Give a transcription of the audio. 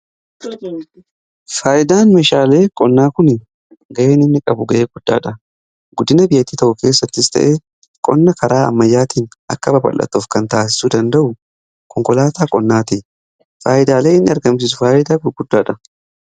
faayidaan mishaalee qonnaa kun ga'een inni qabu ga'ee guddaadha guddina biyyatti tokko keessattis ta'ee qonna karaa ammayyaatiin akka babal'atuuf kan taasisu danda'u konkolaataa qonnaati faayyidaalee inni argamsisu faayidaa guguddaadha.